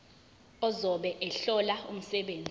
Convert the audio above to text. ozobe ehlola umsebenzi